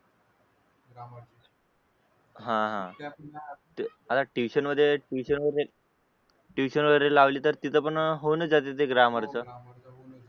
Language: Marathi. हा हा आता ट्यूशन मध्ये ट्यूशन वगैरे लावली तर तिथे पण होऊनच जाते ते ग्रामर चा